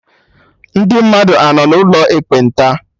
Ndị mmadụ anọ n'ụlọ ekpenta?